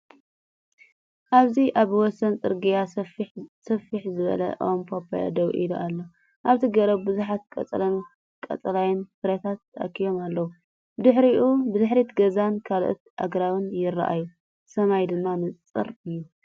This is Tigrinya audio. ኣብዚ ኣብ ወሰን ጽርግያ፡ ስፍሕ ዝበለ ኦም ፓፓዮ ደው ኢሉ ኣሎ። ኣብታ ገረብ ብዙሓት ቆጽልን ቀጠልያ ፍረታትን ተኣኪቦም ኣለዉ። ብድሕሪት ገዛን ካልኦት ኣግራብን ይረኣዩ፣ ሰማይ ድማ ንጹር እዩ።